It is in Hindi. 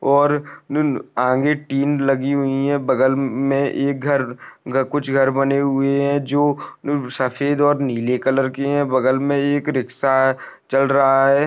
और आगे टीम लगी हुई हैं बगल मे एक घर कुछ घर बने हुये है जो सफ़ेद और नीले कलर की है बगल मे एक रिक्षा चल रहा है।